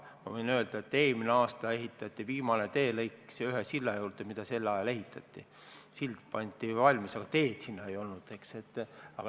Ma võin öelda, et eelmisel aastal valmis viimane teelõik ühe silla juurde, mis just sel ajal ehitati – sild oli valmis, aga teed sinna ei olnud.